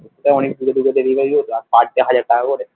অনেক দূরে দূরে delivery হতো parday হাজার টাকা করে